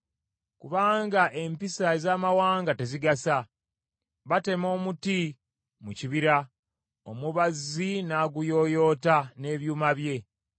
Kubanga empisa ez’amawanga tezigasa; batema omuti mu kibira, omubazzi n’aguyooyoota n’ebyuma bye.